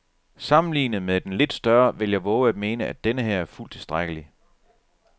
Sammenlignet med den lidt større vil jeg vove at mene, at denneher er fuldt tilstrækkelig.